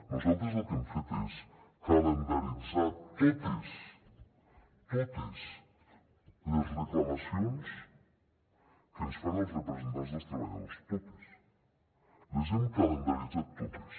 nosaltres el que hem fet és calendaritzar totes totes les reclamacions que ens fan els representants dels treballadors totes les hem calendaritzat totes